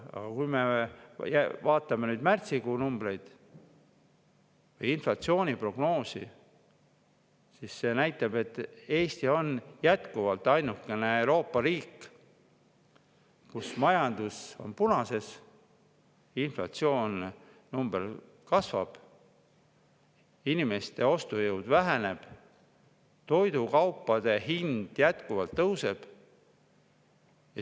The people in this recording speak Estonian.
Aga kui me vaatame nüüd märtsikuu numbreid, inflatsiooniprognoosi, siis need näitavad, et Eesti on jätkuvalt ainuke Euroopa riik, kus majandus on punases, inflatsioon kasvab, inimeste ostujõud väheneb ja toidukaupade hind jätkuvalt tõuseb.